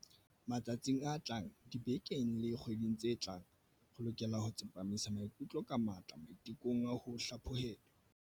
Matsatsing a tlang, dibekeng le dikgweding tse tlang, re lokela ho tsepamisa maikutlo ka matla maite kong a ho hlaphohelwa.